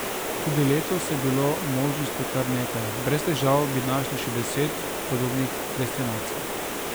Tudi letos je bilo možnosti kar nekaj, brez težav bi našli še deset podobnih destinacij.